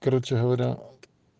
короче говоря